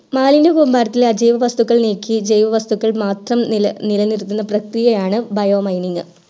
മാലിന്യ കൂമ്പാരത്തു അജൈവ വസ്തുക്കൾ നീക്കി ജൈവ വസ്തുക്കൾ മാത്രം നിലനിർത്തുന്ന പ്രകിയയാണ് bio mining